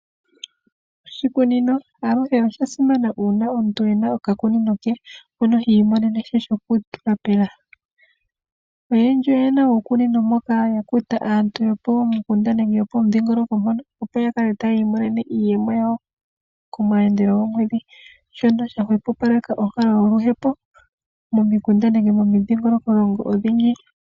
Oshikunino aluhe osha simana uuna omuntu e na okakunino she mono hi imonene sha shokutula pepunda. Oyendji oye na uukunino mboka ya kuta aantu yopomukunda nenge yopomudhingoloko mpono opo a kale tayi imone iiyemo yawo komayandelo gomwedhi. Shono sha hwepopaleka oonkalo yoluhepo momikunda nenge momidhingoloko odhindji.